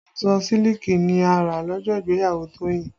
Aṣọ sílíkì ni a rà lọ́jọ́ ìgbéyàwó Toyin